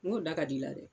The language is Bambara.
N ko da ka d'i la dɛ